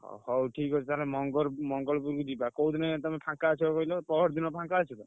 ଅ ହଉ ଠିକ୍ ଅଛି। ତାହେଲେ ମଙ୍ଗରପୁ ମଙ୍ଗଳପୁର କୁ ଯିବା। କୋଉଦିନ ତମେ ଫାଙ୍କା ଅଛ କହିଲ ପହରଦିନ ଫାଙ୍କା ଅଛ ତ?